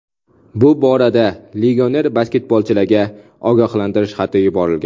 Bu borada legioner basketbolchilarga ogohlantirish xati yuborilgan.